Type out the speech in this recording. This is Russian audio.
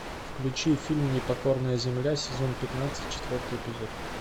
включи фильм непокорная земля сезон пятнадцать четвертый эпизод